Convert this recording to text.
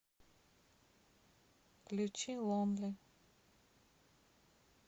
включи лонли